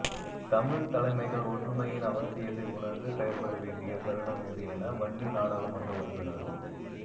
தமிழ்த் தலைமைகள் ஒற்றுமையின் அவசியத்தை உணர்ந்து செயற்பட வேண்டிய தருணமிது என வன்னி நாடாளுமன்ற உறுப்பினரும்